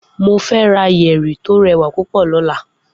Mo fe ra yeri to rewa pupo lola